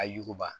A yuguba